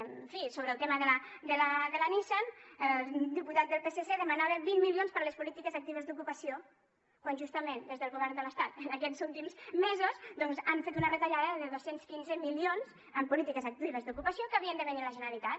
en fi sobre el tema de la nissan el diputat del psc demanava vint milions per a les polítiques actives d’ocupació quan justament des del govern de l’estat aquests últims mesos doncs han fet una retallada de dos cents i quinze milions en polítiques actives d’ocupació que havien de venir a la generalitat